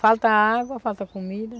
Falta água, falta comida.